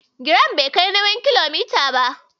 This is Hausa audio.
Giram bai kai nawin kilogiram ba.